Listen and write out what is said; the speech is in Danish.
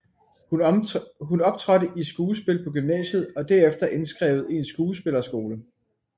Hun optrådte i skuespil på gymnasiet og derefter indskrevet i en skuespilleskole